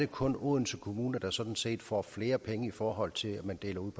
kun er odense kommune der sådan set får flere penge i forhold til at man deler ud